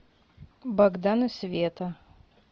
богдан и света